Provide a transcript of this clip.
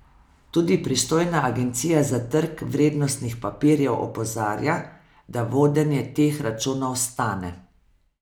Tudi pristojna Agencija za trg vrednostnih papirjev opozarja, da vodenje teh računov stane.